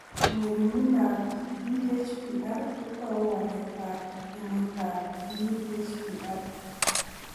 Ng'ering'indoab DHPR ko tou waletab ginitab DHPR.